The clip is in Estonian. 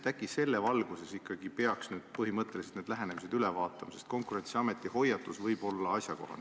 Äkki selles valguses ikkagi peaks nüüd põhimõtteliselt need lähenemised üle vaatama, sest Konkurentsiameti hoiatus võib olla asjakohane.